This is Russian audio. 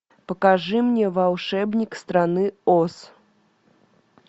покажи мне волшебник страны оз